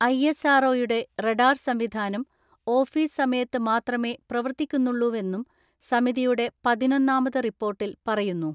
ISRO യുടെ radar സംവിധാനം office സമയത്ത് മാത്രമേ പ്രവർത്തിക്കുന്നുള്ളൂവെന്നും സമിതിയുടെ പതിനൊന്നാമത് റിപ്പോർട്ടിൽ പറയുന്നു.